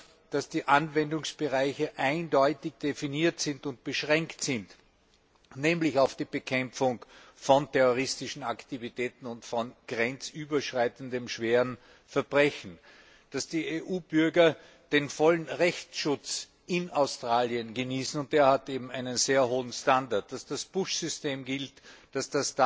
Etwa, dass die Anwendungsbereiche eindeutig definiert und beschränkt sind, nämlich auf die Bekämpfung von terroristischen Aktivitäten und von grenzüberschreitenden schweren Verbrechen, dass die EU Bürger in Australien vollen Rechtsschutz genießen und dieser hat eben einen sehr hohen Standard dass das Push System gilt, dass